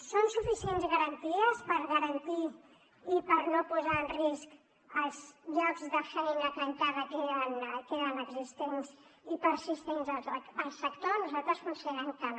són suficients garanties per garantir i per no posar en risc els llocs de feina que encara queden existents i persistents al sector nosaltres considerem que no